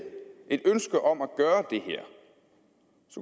et ønske om at gøre det her